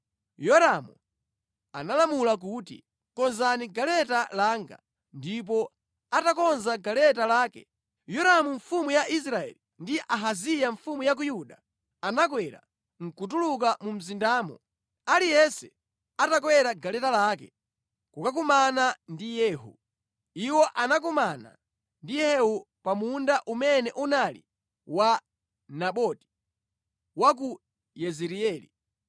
Yoramu analamula kuti, “Konzani galeta langa.” Ndipo atakonza galeta lake, Yoramu mfumu ya Israeli ndi Ahaziya mfumu ya ku Yuda anakwera nʼkutuluka mu mzindamo, aliyense atakwera galeta lake, kukakumana ndi Yehu. Iwo anakumana ndi Yehu pa munda umene unali wa Naboti, wa ku Yezireeli.